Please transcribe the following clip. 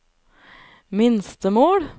minstemål